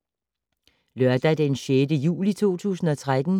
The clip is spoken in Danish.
Lørdag d. 6. juli 2013